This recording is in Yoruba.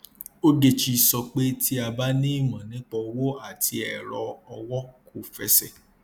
ogechi sọ pé tí a bá ní imọ nípa owó àti ẹrọ owó kò fẹsẹ